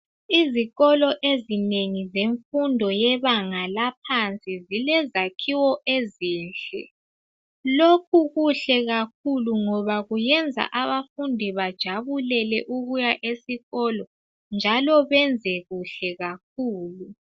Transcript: Izikolo ezinengi zemfundo yebanga laphansi zilezakhiwo ezinhle. Lokhu kuhle kakhulu ngoba kuyenza abafundi bajabulele ukuya esikolo njalo benze kuhle kakhulu.